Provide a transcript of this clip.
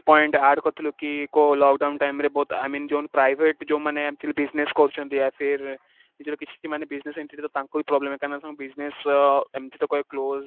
point add କରିଥିଲୁ କି କୋଉ lockdown timeରେ ବହୁତ I mean ଯୋଉ ମାନେ private ଯୋଉ ମାନେ actually business କରୁଛନ୍ତି, ନିଜର କିଛି ମାନେ business ଏମିତି ତ ତାଙ୍କୁ ବି problem କାରଣ ସେମାନେ business ଏମିତି ତ close